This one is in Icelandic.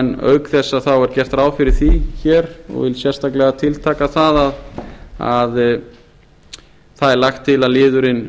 en auk þess er gert ráð fyrir því og ég vil sérstaklega tiltaka að það er lagt til að liðurinn